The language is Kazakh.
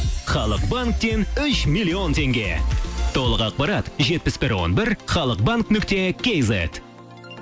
халық банктен үш миллион теңге толық ақпарат жетпіс бір он бір халық банк нүкте кейзет